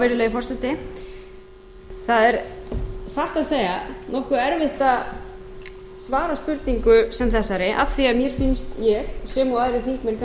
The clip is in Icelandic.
virðulegi forseti það er satt að segja nokkuð erfitt að svara spurningu sem þessari af því að nýþingd ég sem og aðrir þingmenn kannski ekki hafa fengið